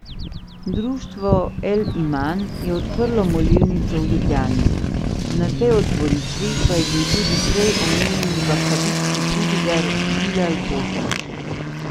Društvo El Iman je odprlo molilnico v Ljubljani, na tej otvoritvi pa je bil tudi prej omenjeni vahabitski pridigar Bilal Bosnić.